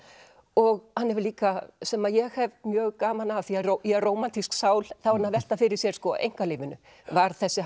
og hann hefur líka sem ég hef mjög gaman af því ég er rómantísk sál þá er hann að velta fyrir sér einkalífinu var þessi